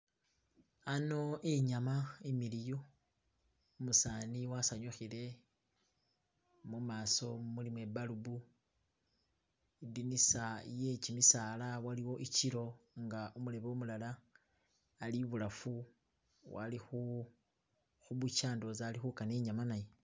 ano inyama imiliyu umusani wasanyuhile mumaso mulimo ibalibu idinisa yekyimisala waliwo ikyilo nga umulebe umulala ali ibulafu walihu hubukya ndowoza alihukana inyama nayo